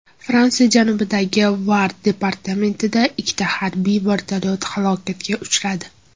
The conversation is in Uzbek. Fransiya janubidagi Var departamentida ikkita harbiy vertolyot halokatga uchradi.